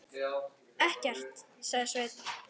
Ekkert, sagði Sveinn.